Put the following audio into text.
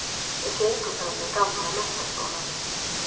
Við gengum framhjá gamla menntaskólanum